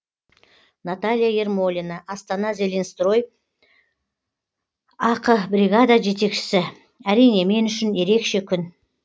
наталья ермолина астана зеленстрой ақ бригада жетекшісі әрине мен үшін ерекше күн